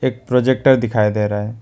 एक प्रोजेक्टर दिखाई दे रहा है।